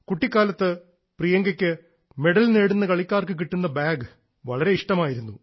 കുട്ടിക്കാലത്ത് പ്രിയങ്കയ്ക്ക് മെഡൽ നേടുന്ന കളിക്കാർക്ക് കിട്ടുന്ന ബാഗ് വളരെ ഇഷ്ടമായിരുന്നു